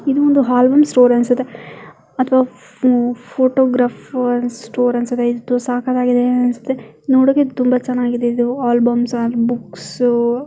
ಇದು ಒಂದು album store ಅನ್ಸುತ್ತೆ ಅಥವಾ ಫೋಟೋಗ್ರಾಫೇರ್ ಸ್ಟೋರ್ ಅನ್ಸುತ್ತೆ ಇದು ಸಕ್ಕತ್ ಆಗಿದೆ ಅನ್ಸುತ್ತೆ ನೋಡೋಕ್ಕೆ ತುಂಬ ಚೆನ್ನಾಗಿದೆ ಅನ್ಸುತ್ತೆ ಇದು ಆಲ್ಬಮ್ ಸಾಂಗ್ಸ್ ಬುಕ್ಸ್ --